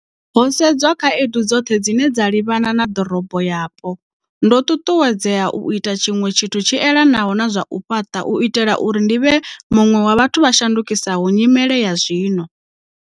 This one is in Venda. Ho sedzwa khaedu dzoṱhe dzine dza livhana na ḓorobo yapo, ndo ṱuṱuwedzea u ita tshiṅwe tshithu tshi elanaho na zwa u fhaṱa u itela uri ndi vhe muṅwe wa vhathu vha shandukisaho nyimele ya zwino.